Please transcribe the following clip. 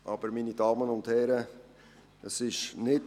Aber, meine Damen und Herren, so ist es nicht!